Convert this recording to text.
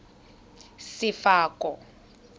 sefako